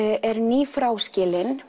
er